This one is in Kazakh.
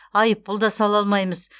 айыппұл да сала алмаймыз